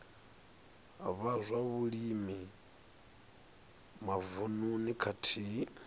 vha zwa vhulimi mavununi khathihi